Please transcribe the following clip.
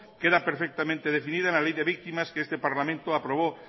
queda perfectamente definida en la ley de víctimas que este parlamento aprobó